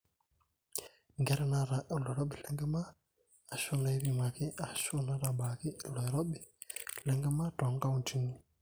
inkera naata oloirobi lenkima aashu naaipimaki aashu naatabaaki ilo oirobi lenkima toonkauntini